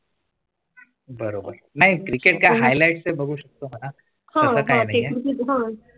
बरोबर नाहीं Cricket highlights बघू शकतो का हा